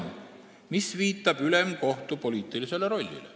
Ning see viitab ülemkohtu poliitilisele rollile.